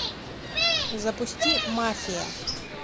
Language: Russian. запусти мафия